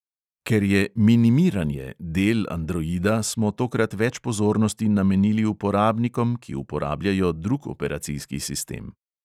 Ker je "minimiranje" del androida, smo tokrat več pozornosti namenili uporabnikom, ki uporabljajo drug operacijski sistem.